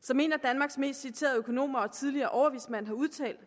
som en af danmarks mest citerede økonomer og tidligere overvismænd har udtalt